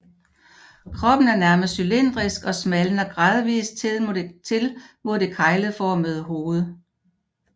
Kroppen er nærmest cylindrisk og smalner gradvist til mod det kegleformede hoved